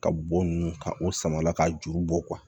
Ka bo nunnu ka o samara ka juru bɔ